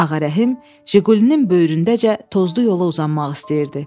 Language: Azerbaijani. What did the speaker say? Ağarəhim JİQULİ-nin böyründəcə tozlu yola uzanmaq istəyirdi.